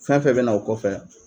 Fɛn fɛn bɛ na o kɔfɛ.